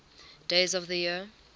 days of the year